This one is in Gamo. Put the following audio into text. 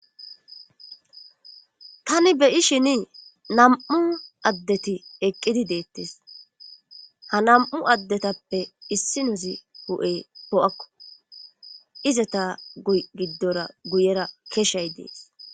tani beyi shini nam7u addeti eqqidi deettes ha nam7u addetappe issi nuzi hu7e po7akko izata giddora guyera keshshay dees